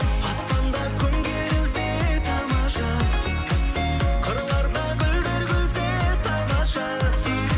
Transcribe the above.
аспанда күн керілсе тамаша қырларда гүлдер күлсе тамаша